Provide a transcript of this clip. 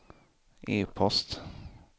e-post